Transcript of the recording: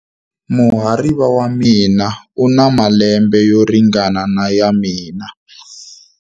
Muhariva wa mina u na malembe yo ringana na ya mina.